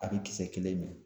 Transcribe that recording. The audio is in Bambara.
A bɛ kisɛ kelen min